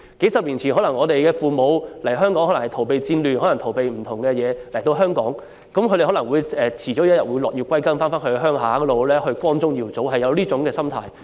數十年前，我們的父母可能是為了逃避戰亂或其他原因來到香港，他們可能總有一天會落葉歸根，有一種要重返故鄉，光宗耀祖的心態。